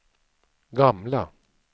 gamla